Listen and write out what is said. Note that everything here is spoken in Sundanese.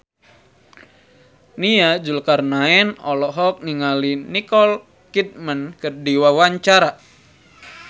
Nia Zulkarnaen olohok ningali Nicole Kidman keur diwawancara